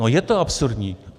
No, je to absurdní.